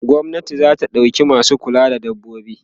gwamnati zata ɗauka masu kulawa da dabbobi